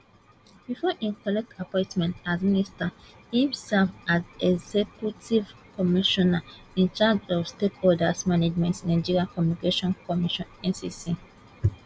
before im collect appointment as minister im serve as executive commissioner in charge of stakeholders management nigeria communications commission ncc